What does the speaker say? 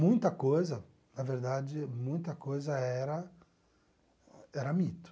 Muita coisa, na verdade, muita coisa era era mito.